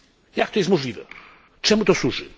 Jak to jest możliwe, czemu to służy?